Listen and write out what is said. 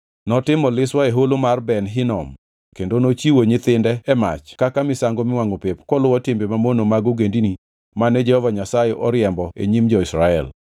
Notimo liswa e Holo mar Ben Hinom kendo nochiwo nyithinde e mach kaka misango miwangʼo pep koluwo timbe mamono mag ogendini mane Jehova Nyasaye oriembo e nyim jo-Israel.